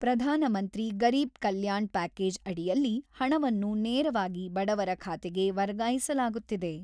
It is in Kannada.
ಪ್ರಧಾನಮಂತ್ರಿ ಗರೀಬ್ ಕಲ್ಯಾಣ ಪ್ಯಾಕೇಜ್ ಅಡಿಯಲ್ಲಿ ಹಣವನ್ನು ನೇರವಾಗಿ ಬಡವರ ಖಾತೆಗೆ ವರ್ಗಾಯಿಸಲಾಗುತ್ತಿದೆ.